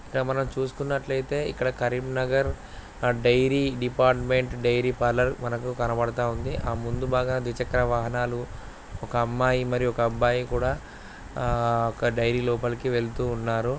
తమన్నా చూస్తున్నట్లయితే ఇక్కడ Karimnagar Nagar dairy department dairy parlour మనకు కనబడుతుంది. ఆ ముందు బాగా ద్విచక్ర వాహనాలు ఒక అమ్మాయి మరియు అబ్బాయి కూడా ఆ డైరీ లోపలికి వెళ్తూ ఉన్నారు.